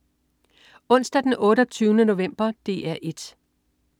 Onsdag den 28. november - DR 1: